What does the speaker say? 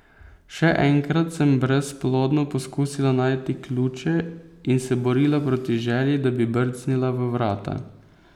Še enkrat sem brezplodno poskusila najti ključe in se borila proti želji, da bi brcnila v vrata.